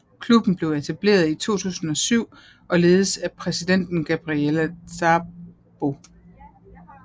Klubben blev etableret i 2007 og ledes af præsidenten Gabriella Szabo